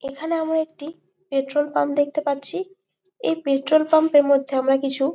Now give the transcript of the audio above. এখানে আমরা একটি পেট্রল পাম্প দেখতে পাচ্ছি। এই পেট্রোল পাম্প এর মধ্যে আমরা কিছু --